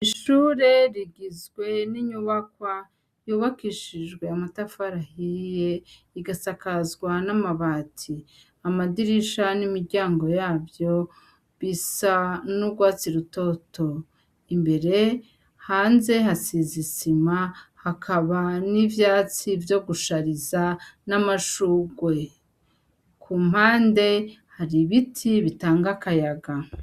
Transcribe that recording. Ishure rigizwe n'inyubakwa yubakishijwe yamatafarahiye igasakazwa n'amabati amadirisha n'imiryango yavyo bisa n'urwatsi rutoto imbere hanze hasizisima hakaba n'ivyatsi vyo gusa shariza n'amashurwe ku mpande hari ibiti bitanga akayaga.